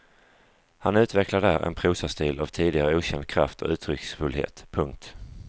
Han utvecklar där en prosastil av tidigare okänd kraft och uttrycksfullhet. punkt